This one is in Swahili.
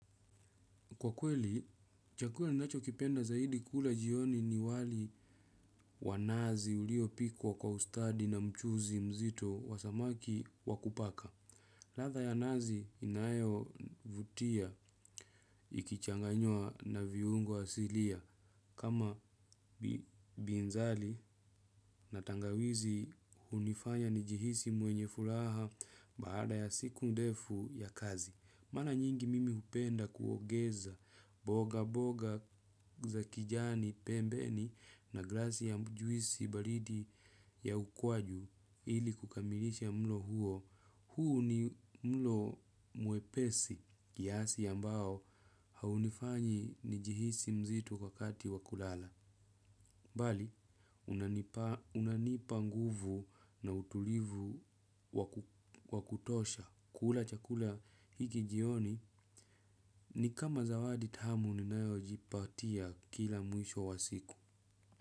Kwa kweli, chakula ninachokipenda zaidi kula jioni ni wali wa nazi uliopikwo kwa ustadi na mchuuzi mzito wa samaki wa kupaka. Latha ya nazi inayovutia ikichanganywa na viungo asilia. Kama binzali na tangawizi hunifanya nijihisi mwenye fulaha baada ya siku ndefu ya kazi. Mala nyingi mimi hupenda kuogeza boga boga za kijani pembeni na glasi ya juisi baridi ya ukwaju ili kukamilisha mlo huo. Huu ni mlo mwepesi kiasi ambao haunifanyi nijihisi mzito wakati wa kulala. Bali, unanipa nguvu na utulivu wa kutosha. Kula chakula hiki jioni ni kama zawadi tahamu ninayojipatia kila mwisho wa siku.